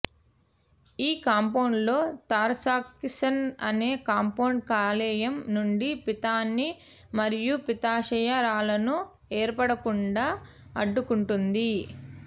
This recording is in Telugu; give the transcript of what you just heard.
ఈ కాంపౌడ్ లో తరాక్ససిన్ అనే కాంపౌడ్ కాలేయం నుండి పిత్తాన్ని మరియు పిత్తాశయ రాళ్ళను ఏర్పడకుండా అడ్డుకుంటుంది